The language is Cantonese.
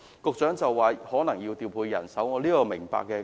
局長說可能要調配人手，我是明白的。